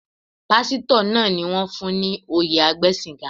Pásítọ̀ náà ni wón fún ní oyè agbẹ́sìnga.